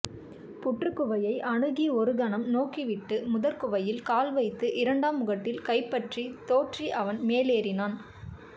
புற்றுக்குவையை அணுகி ஒருகணம் நோக்கிவிட்டு முதற்குவையில் கால் வைத்து இரண்டாம் முகடில் கைபற்றித் தொற்றி அவன் மேலேறினான்